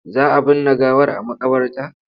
Za a binne gawar a maƙabarta?